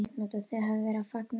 Og þið hafið verið að fagna því?